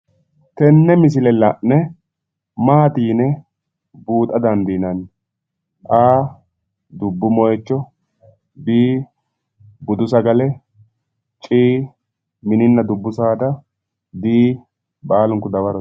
Tenne misile la'ne Maati yine buuxa dandiinanni? A,dubbu moyiicho B,buddu sagale C,mininna dubbu saada D,baalunku dawarote.